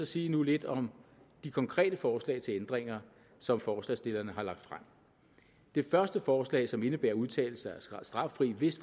sige lidt om de konkrete forslag til ændringer som forslagsstillerne har lagt frem det første forslag som indebærer at udtalelser er straffri hvis